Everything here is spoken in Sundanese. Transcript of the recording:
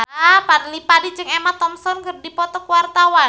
Fadly Padi jeung Emma Thompson keur dipoto ku wartawan